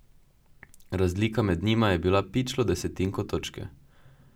Razlika med njima je bila pičlo desetinko točke!